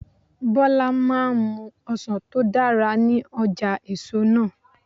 Bọlá máa ń mú ọsàn tó dára ní ọjà èso náà.